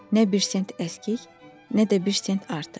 Nə bir cent əskik, nə də bir cent artıq.